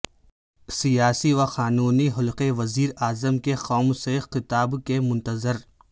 سیاسی و قانونی حلقے وزیر اعظم کے قوم سے خطاب کے منتظر